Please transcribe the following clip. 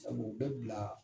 Sabu bɛ bila